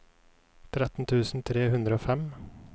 tretten tusen tre hundre og fem